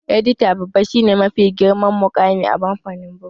Edita babba shi ne mafi girman muƙami a kamfanin bugu